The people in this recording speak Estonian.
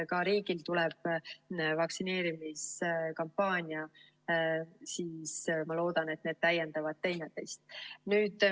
Ka riigil tuleb vaktsineerimiskampaania ja ma loodan, et need täiendavad teineteist.